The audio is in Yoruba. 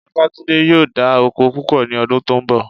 Babátúndé yóò dá oko púpọ̀ ní ọdún tó ń bọ̀